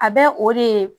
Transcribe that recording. A bɛ o de ye